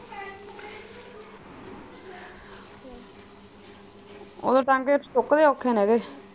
ਉਦੋਂ ਟਾਂਕੇ ਸੁੱਕਦੇ ਔਖੇ ਨੇਗੇ।